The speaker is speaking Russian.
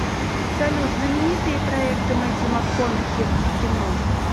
салют знаменитые проекты мэттью макконахи в кино